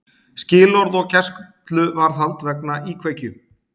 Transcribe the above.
Skilorð og gæsluvarðhald vegna íkveikju